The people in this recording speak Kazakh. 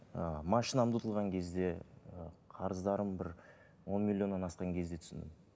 ыыы машинамды ұтылған кезде ы қарыздарым бір он миллионнан асқан кезде түсіндім